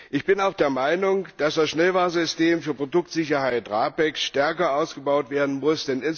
Ich bin auch der Meinung, dass das Schnellwarnsystem für Produktsicherheit RAPEX stärker ausgebaut werden muss.